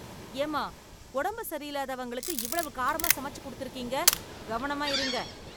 ஏம்மா, உடம்பு சரியில்லாதவங்களுக்கு இவ்வளவு காரமா சமச்சு கொடுத்துருக்கீங்க. கவனமா இருங்க.